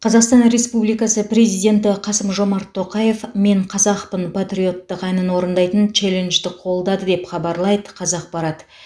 қазақстан республикасы президенті қасым жомарт тоқаев мен қазақпын патриоттық әнін орындайтын челленджді қолдады деп хабарлайды қазақпарат